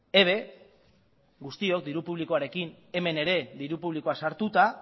eb guztiok diru publikoarekin hemen ere diru publikoa sartuta